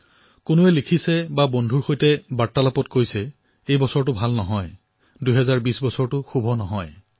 কোনোবাই লিখিছে বন্ধুৰ সৈতে কথা পাতিছে কোনোবাই কৈছে যে এই বৰ্ষটো ঠিক নহয় কোনোবাই কৈছে ২০২০ বৰ্ষটো শুভ নহয়